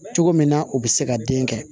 Cogo min na o bɛ se ka den kɛ